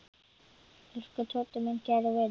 Elsku Tóti, minn kæri vinur.